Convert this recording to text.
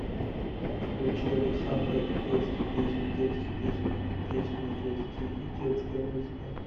включи александра и детские песни детские песни и песни для детей и детская музыка